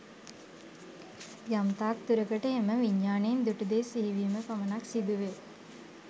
යම් තාක් දුරකට එම විඥානයෙන් දුටු දේ සිහි වීම පමණක් සිදු වේ.